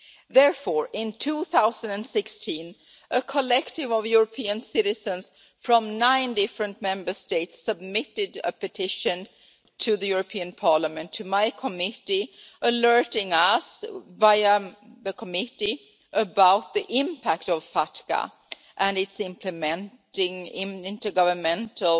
Therefore, in 2016, a collective of European citizens from nine different Member States submitted a petition to Parliament, to my committee, alerting us via the committee about the impact of FATCA, and its implementing intergovernmental